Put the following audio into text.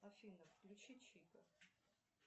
афина включи чита